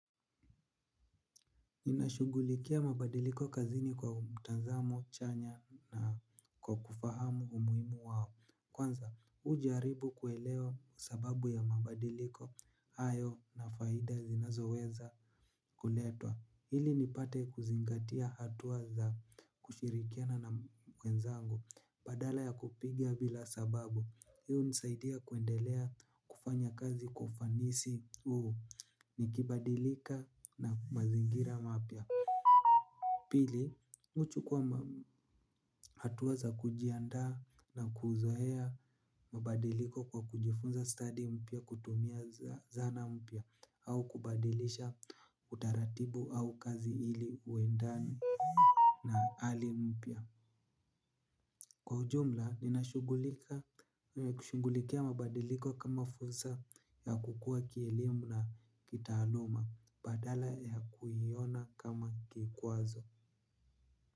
Ninashugulikia mabadiliko kazini kwa mtazamo chanya na kwa kufahamu umuhimu wao. Kwanza mi hujaribu kuelewa sababu ya mabadiliko hayo na faida zinazo weza kuletwa ili nipate kuzingatia hatua za kushirikiana na wenzangu. Badala ya kupiga bila sababu hii hunisaidia kuendelea kufanya kazi kwa ufanisi huu. Nikibadilika na mazingira mapya pili, mi huchukua hatua za kujiandaa na kuzoea mabadiliko kwa kujifunza stadi mpya kutumia zana mpya au kubadilisha utaratibu au kazi ili uendane na hali mpya. Kwa ujumla, ninashugulikia mabadiliko kama fursa ya kukua kielimu na kitaaluma badala ya kuiona kama kikwazo.